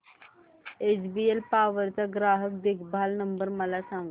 HBL power चा ग्राहक देखभाल नंबर मला सांगा